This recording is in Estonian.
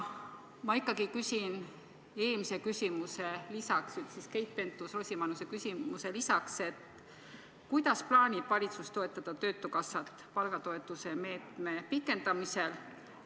Ma ikkagi küsin Keit Pentus-Rosimannuse küsimusele lisaks, kuidas plaanib valitsus toetada töötukassat palgatoetuse meetme pikendamisel.